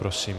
Prosím.